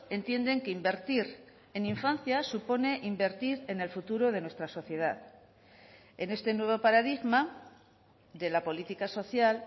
entienden que invertir en infancia supone invertir en el futuro de nuestra sociedad en este nuevo paradigma de la política social